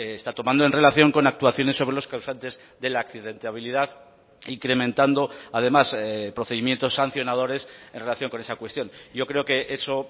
está tomando en relación con actuaciones sobre los causantes de la accidentabilidad incrementando además procedimientos sancionadores en relación con esa cuestión yo creo que eso